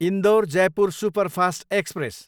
Indore, Jaipur superfast express